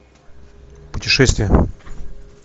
путешествия